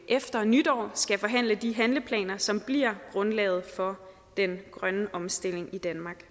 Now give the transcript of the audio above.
efter nytår skal forhandle de handleplaner som bliver grundlaget for den grønne omstilling i danmark